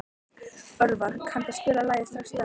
Orvar, kanntu að spila lagið „Strax í dag“?